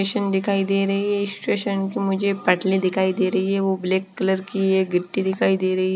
Station दिखाई दे रही है स्टेशन की मुझे पटली दिखाई दे रही है वो कलर की गट्टी दिखाई दे रही है।